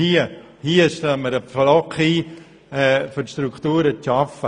Hier schlagen wir einen Pflock ein, um Strukturen zu schaffen.